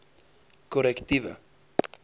korrektiewe